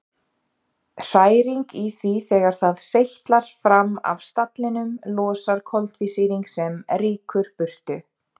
Hræring í því þegar það seytlar fram af stallinum losar koltvísýring sem rýkur burtu.